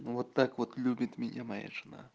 вот так вот любит меня моя